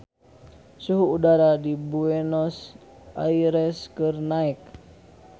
Suhu udara di Buenos Aires keur naek